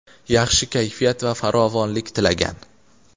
yaxshi kayfiyat va farovonlik tilagan.